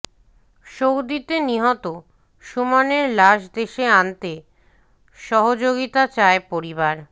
সৌদিতে নিহত সুমনের লাশ দেশে আনতে সহযোগিতা চায় পরিবার